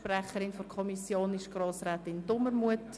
Die Sprecherin der Kommission ist Grossrätin Dumermuth.